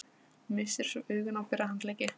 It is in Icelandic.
Missir svo augun á bera handleggi